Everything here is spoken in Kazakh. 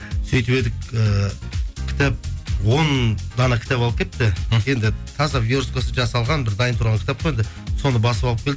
сөйтіп едік ііі кітап он дана кітап алып келіпті енді таза версткасы жазалған бір дайын тұрған кітап қой енді соны басып алып келді